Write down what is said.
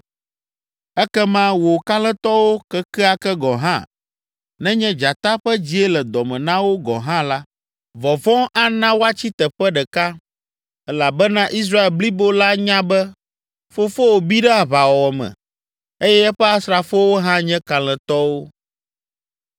Ekema wò kalẽtɔwo kekeake gɔ̃ hã, nenye dzata ƒe dzie le dɔ me na wo gɔ̃ hã la, vɔvɔ̃ ana woatsi teƒe ɖeka elabena Israel blibo la nya be fofowò bi ɖe aʋawɔwɔ me eye eƒe asrafowo hã nye kalẽtɔwo.